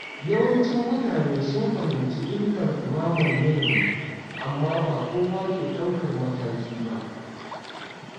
Yawancin mutane sun fahimci illar dumamar yanayi, amma ba kowa ke daukar mataki ba.